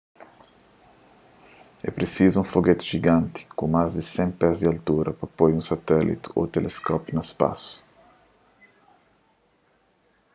é prisizu un fogeti jiganti ku más di 100 pés di altura pa poi un satéliti ô teleskópiu na spasu